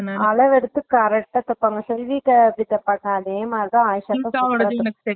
அளவெடுத்து correct டா தேப்பாங்க செல்வி அக்காகிட்ட பாத்தே அதேமாதிரிதா